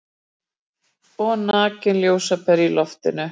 Og nakin ljósapera í loftinu.